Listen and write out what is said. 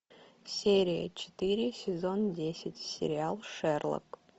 серия четыре сезон десять сериал шерлок